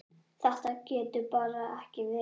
Þetta getur bara ekki verið.